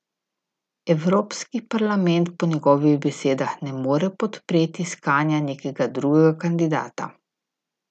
Evropski parlament po njegovih besedah ne more podpreti iskanja nekega drugega kandidata.